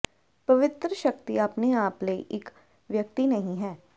ਪਵਿੱਤਰ ਸ਼ਕਤੀ ਆਪਣੇ ਆਪ ਲਈ ਇਕ ਵਿਅਕਤੀ ਨਹੀਂ ਹੈ